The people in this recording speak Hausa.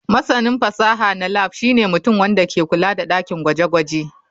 Masanin fasaha na lab shine mutum wanda ke kula da dakin gwaje-gwaje.